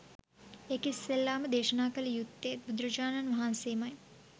ඒක ඉස්සෙල්ලා ම දේශනා කළ යුත්තේ ත් බුදුරජාණන් වහන්සේ ම යි